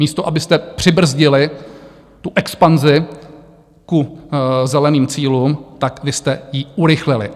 Místo abyste přibrzdili tu expanzi k zeleným cílům, tak vy jste ji urychlili.